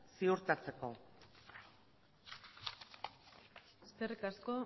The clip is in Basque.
ziurtatzeko eskerrik asko